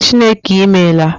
Chineke I meela